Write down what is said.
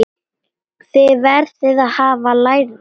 Þið verðið að hafa lægra.